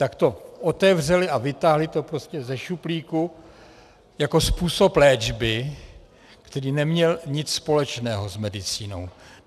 Tak to otevřeli a vytáhli to prostě ze šuplíku jako způsob léčby, který neměl nic společného s medicínou.